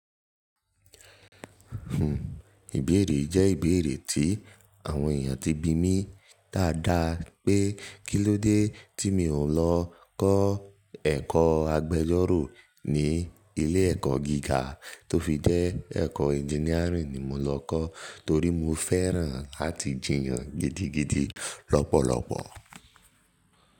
Ìbéèrè yii jẹ́ ìbéèrè tí àwọn èèyàn ti bi mí dáadáa pé kílódé tí mi ò lọ kọ́ ẹ̀kọ́ agbẹjọ́rò ni ilé ẹ̀kọ́ gíga tó fi jẹ́ ẹ̀kọ́ engineering ni mo lọ kọ́ torí mo fẹ́ràn láti jiyàn gidigidi lọ́pọ̀lọpọ̀